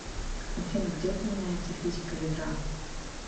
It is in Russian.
афина где упоминается физика ядра